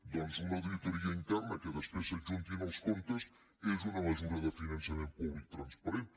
doncs una auditoria interna que després s’hi adjuntin els comptes és una mesura de finançament públic transparent